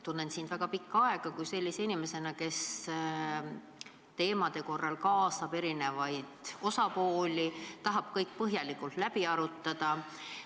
Tunnen sind väga pikka aega sellise inimesena, kes teemade arutellu kaasab erinevaid osapooli, tahab kõik põhjalikult läbi arutada.